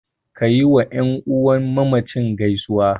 Ka yiwa ƴan uwan mamacin gaisuwa.